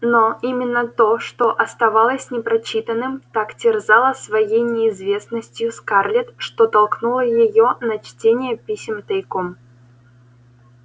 но именно то что оставалось непрочитанным так терзало своей неизвестностью скарлетт что толкнуло её на чтение писем тайком